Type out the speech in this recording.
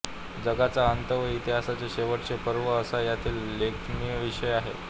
जगाचा अंत व इतिहासाचे शेवटचे पर्व असा यातील लेखनविषय आहे